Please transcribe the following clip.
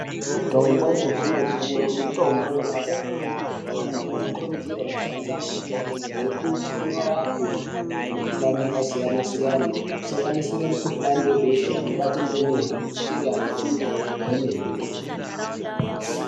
Mitombo yechizvino - zvino mitombo inorapa kwememe . Anthu anokurudzirwa kushandisa mitombo iyi ngekuti inorapa kwemene ngekuti inorapa mukuhlani yakasiyana - siyana kusanganisira mukuhlani webesha unobata vana vadoko dzichiri ndumure .